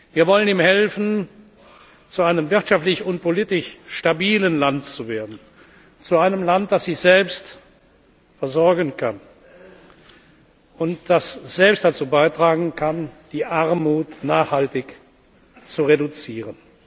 Wir wollen ihm helfen, zu einem wirtschaftlich und politisch stabilen Land zu werden, zu einem Land, das sich selbst versorgen kann und das selbst dazu beitragen kann, die Armut nachhaltig zu reduzieren.